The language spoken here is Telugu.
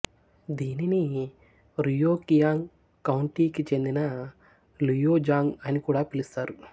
దీనిని రుయోకియాంగ్ కౌంటీకి చెందిన లుయోజాంగ్ అని కూడా పిలుస్తారు